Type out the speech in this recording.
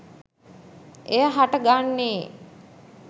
එය හට ගන්නේ